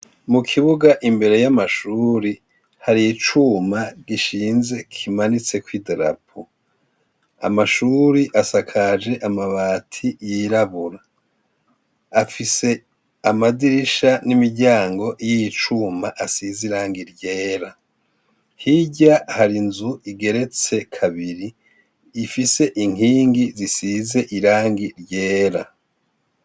Mukibuga imbere y'Amashure haricuma gishinze kimanitseko idarapo .Amashure asakaje amabati yirabura, afise Amadirisha n'imiryango yicuma asize Irangi ryera, hirya hari inzu igeretse kabiri ifise inkingi zisize irangi ryera.